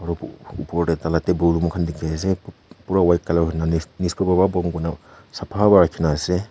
opor tae tai la table mokhan dikhi ase pura white colour bhal pa rakhina asee.